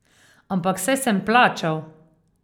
Ampak saj sem plačal.